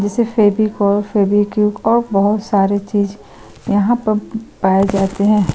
जैसे फेविकोल फेवीक्विक और बहोत सारे चीज़ यहाँ पर पाए जाते हैं।